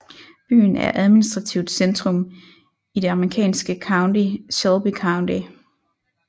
Byen er administrativt centrum i det amerikanske county Shelby County